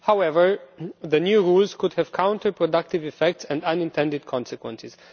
However, the new rules could have counter productive effects and unintended consequences.